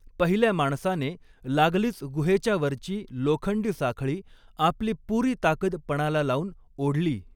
पहिल्या माणसाने लागलीच गुहेच्या वरची लोखंडी साखळी आपली पुरी ताकद पणाला लावून ओढली.